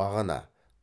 бағана